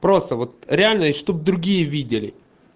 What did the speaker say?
просто вот реально и чтобы другие видели